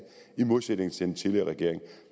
i modsætning til den tidligere regering